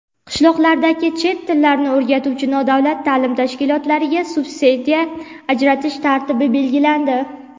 Qishloqlardagi chet tillarini o‘rgatuvchi nodavlat ta’lim tashkilotlariga subsidiya ajratish tartibi belgilandi.